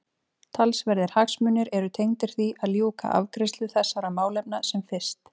Talsverðir hagsmunir eru tengdir því að ljúka afgreiðslu þessara málefna sem fyrst.